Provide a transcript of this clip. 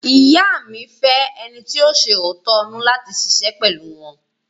Ìyá mi fẹ́ ẹni ti yóò ṣẹ òótọ́ inú láti ṣiṣẹ́ pẹ̀lú wọ́n.